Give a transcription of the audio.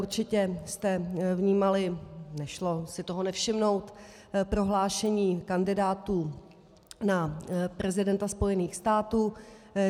Určitě jste vnímali, nešlo si toho nevšimnout, prohlášení kandidátů na prezidenta spojených států.